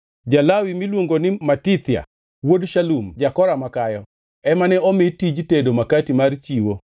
Ja-Lawi miluongo ni Matithia, wuod Shalum ja-Kora makayo, ema ne omi tij tedo makati mar chiwo.